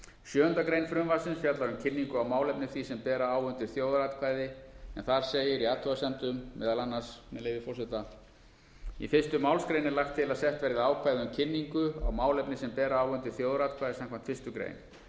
sjöunda grein frumvarpsins fjallar um kynningu á málefni því sem bera á undir þjóðaratkvæði en þar segir í athugasemdum meðal annars með leyfi forseta í fyrstu málsgrein er lagt til að sett verði ákvæði um kynningu á málefni sem bera á undir þjóðaratkvæði samkvæmt fyrstu grein